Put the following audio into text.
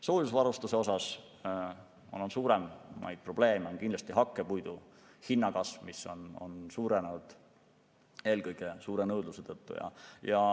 Soojusvarustuse puhul on suurimaid probleeme kindlasti hakkepuidu hinna kasv, mis on aset leidnud eelkõige suure nõudluse tõttu.